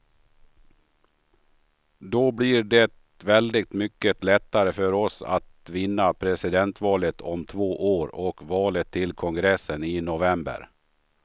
Då blir det väldigt mycket lättare för oss att vinna presidentvalet om två år och valet till kongressen i november.